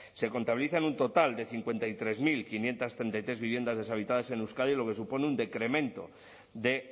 se contabilizan un total de cincuenta y tres mil quinientos treinta y tres viviendas deshabitadas en euskadi lo que supone un decremento de